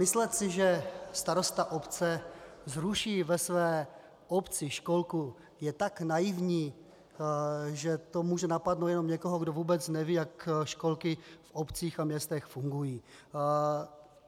Myslet si, že starosta obce zruší ve své obci školku, je tak naivní, že to může napadnout jenom někoho, kdo vůbec neví, jak školky v obcích a městech fungují.